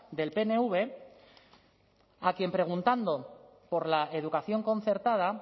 del pnv a quien preguntando por la educación concertada